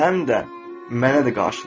və həm də mənə də qarşıdırlar.